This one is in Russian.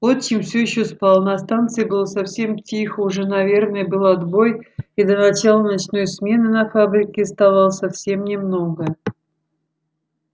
отчим всё ещё спал на станции было совсем тихо уже наверное был отбой и до начала ночной смены на фабрике оставалось совсем немного